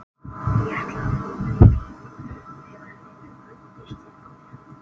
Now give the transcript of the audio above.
Ég ætlaði að fá mér í pípu þegar þið ruddust inn á mig.